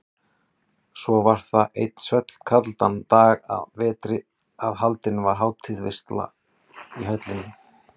Svo var það einn svellkaldan dag að vetri að haldin var hátíðarveisla í höllinni.